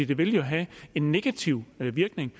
det vil have en negativ virkning